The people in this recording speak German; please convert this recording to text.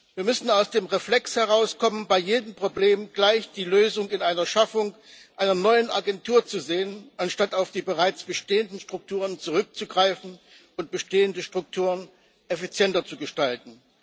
Wir müssen aus dem Reflex herauskommen, bei jedem Problem gleich die Lösung in der Schaffung einer neuen Agentur zu sehen, anstatt auf die bereits bestehenden Strukturen zurückzugreifen und bestehende Strukturen effizienter zu gestalten.